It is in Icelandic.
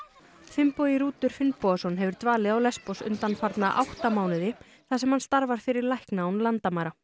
Finnbogi Rútur Finnbogason hefur dvalið á undanfarna átta mánuði þar sem hann starfar fyrir lækna án landamæra